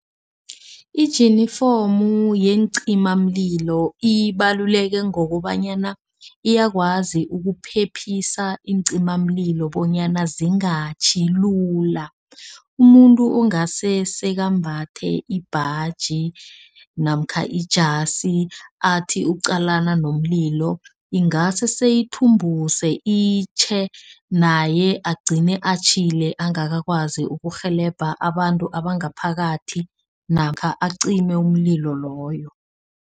Ijinifomu yeencimamlilo ibaluleke ngokobanyana, iyakwazi ukuphephisa iincimamlilo bonyana zingatjhi lula. Umuntu ongasuye sekambatha ibhaji namkha ijasi athi ukuqalana nomlilo. Ingase seyithumbuse itjhe, naye agcine atjhile angakakwazi ukurhelebha abantu abangaphakathi namkha acime umlilo loyo.